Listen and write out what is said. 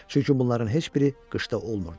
Çünki bunların heç biri qışda olmurdu.